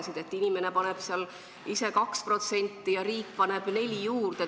Näiteks see, et inimene paneb ise 2% ja riik paneb 4% juurde.